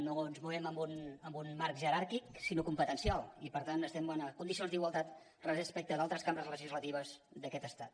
no ens movem en un marc jeràrquic sinó competencial i per tant estem en condicions d’igualtat respecte d’altres cambres legislatives d’aquest estat